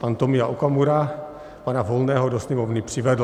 Pan Tomio Okamura pana Volného do Sněmovny přivedl.